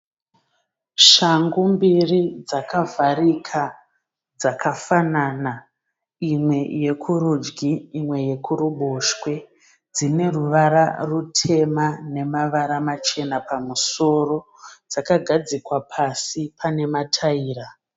Shangu mbiri dzakavharika dzakafanana, imwe yekurudyi imwe yekuruboshwe. Dzine ruvara rutema nemavara machena pamusoro. Dzakagadzikwa pasi pane pamatira.